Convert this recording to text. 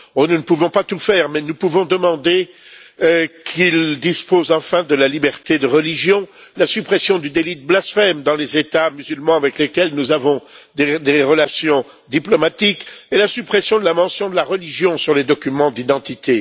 Nous ne pouvons pas tout faire, mais nous pouvons demander qu'ils disposent enfin de la liberté de religion, de la suppression du délit de blasphème dans les États musulmans avec lesquels nous avons des relations diplomatiques et de la suppression de la mention de la religion sur les documents d'identité.